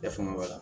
E fanga b'a la